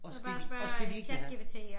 Også det også det de ikke vil have